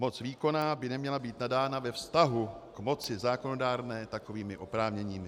Moc výkonná by neměla být nadána ve vztahu k moci zákonodárné takovými oprávněními.